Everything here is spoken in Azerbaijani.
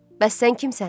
Bəs sən kimsən?